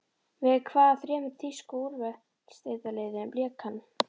Með hvaða þremur þýsku úrvalsdeildarliðum lék hann?